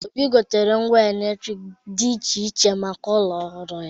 Obi gotere ngwa eletrik dị iche iche maka ụlọ ọhụrụ ya.